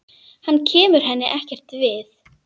Hann kemur henni ekkert við.